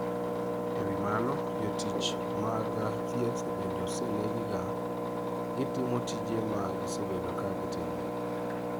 E wi mano, jotich mag thieth bende osenegi ga gitimo tije ma gisebedo ka gitimo.